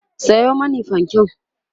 Sayo mani fanke!